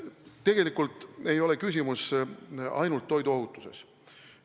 Tegelikult ei ole küsimus ainult toiduohutuses.